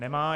Nemá.